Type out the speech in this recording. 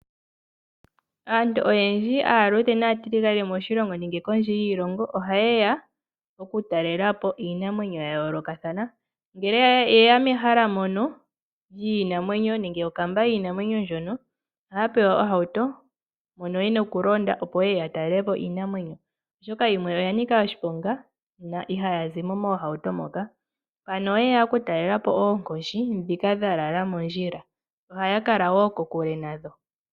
Aantu oyendji aaluudhe naatiligane moshilongo nenge kondje yiilongo ohaye ya oku talela po iinamwenyo ya yoolokathana. Ngele ye ya mehala mono lyiinamwenyo nenge mokamba yiinamwenyo ndjono, ohaa pewa ohauto mono ye na okulonda opo ye ye ya talele po iinamwenyo, oshoka yimwe oya nika oshiponga, na ihaya zi mo moohauto moka. Oye ya okutalela po oonkoshi ndhika dha lala mondjila. Ohaya kala wo kokule nadho.